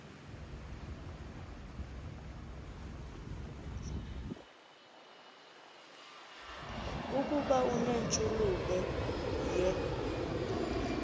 ukuba unentshulube ye